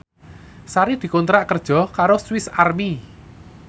Sari dikontrak kerja karo Swis Army